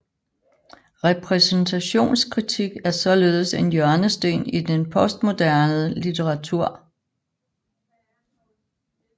Repræsentationskritik er således en hjørnesten i den postmoderne litteratur